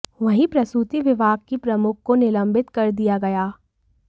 वहीं प्रसूति विभाग की प्रमुख को निलंबित कर दिया गया